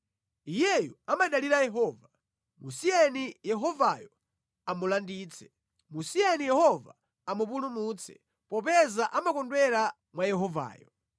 “Iyeyu amadalira Yehova, musiyeni Yehovayo amulanditse. Musiyeni Yehova amupulumutse popeza amakondwera mwa Yehovayo.”